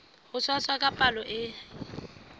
ho tshwasa ka palo e